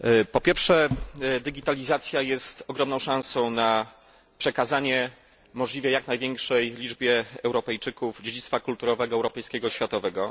Po pierwsze, digitalizacja jest ogromną szansą na przekazanie możliwie jak największej liczbie Europejczyków dziedzictwa kulturowego, europejskiego i światowego.